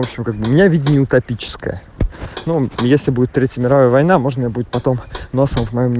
у меня видел топическая ну если будет третья мировая война можно будет потом носом